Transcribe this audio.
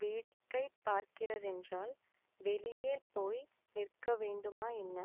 வேடிக்கைப் பார்க்கிறதென்றால் வெளியே போய் நிற்க வேண்டுமா என்ன